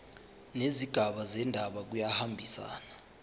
nezigaba zendaba kuyahambisana